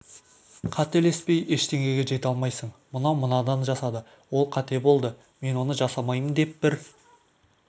қателеспей ештеңеге жете алмайсың мынау мынан жасады ол қате болды мен оны жасамаймын деп бір